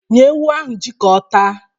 Nye ewu ahụ ji ka ọ taa